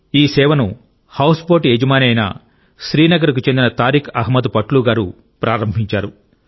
ఈ సేవను హౌస్బోట్ యజమాని అయిన శ్రీనగర్కు చెందిన తారిక్ అహ్మద్ పట్లూ గారు ప్రారంభించారు